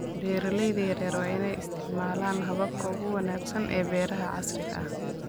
Beeralayda yaryar waa inay isticmaalaan hababka ugu wanaagsan ee beeraha casriga ah.